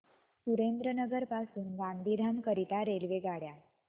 सुरेंद्रनगर पासून गांधीधाम करीता रेल्वेगाड्या